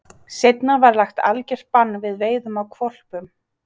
Seinna var lagt algjört bann við veiðum á hvolpum.